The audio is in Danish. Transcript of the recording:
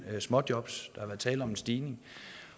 småjobs har været tale om en stigning